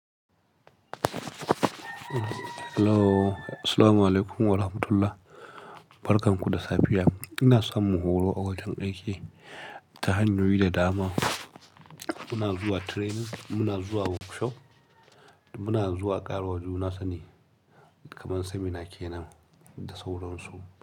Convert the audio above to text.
Hello, assalamualaikum warahmatullah. Barkan ku da safiya. Ina samun horo a wajen aiki ta hanyoyi da dama. Muna zuwa training, muna zuwa workshop, muna zuwa ƙaruwa juna sani kamar seminar kenan da sauran su.